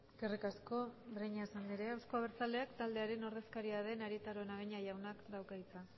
eskerrik asko breñas andrea euzko abertzaleak taldearen ordezkaria den arieta araunabeña jaunak dauka hitza